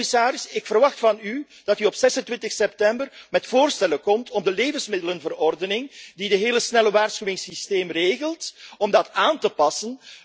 Dus, commissaris, ik verwacht van u dat u op 26 september met voorstellen komt om de levensmiddelenverordening die het hele snelle waarschuwingssysteem regelt, aan te passen.